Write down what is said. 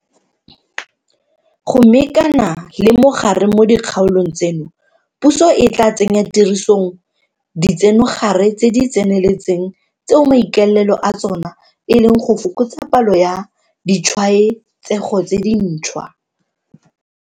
Go mekana le mogare mo dikgaolong tseno, puso e tla tsenyatirisong ditsenogare tse di tseneletseng tseo maikaelelo a tsona e leng go fokotsa palo ya ditshwaetsego tse dintšhwa.